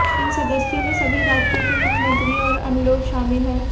इन सदस्यों में सभी राज्यों के मुख्यमंत्री और अन्य लोग शामिल हैं